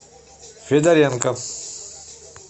федоренко